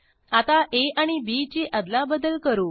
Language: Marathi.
आता आ आणि बी ची अदलाबदल करू